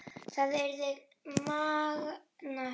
Það yrði magnað.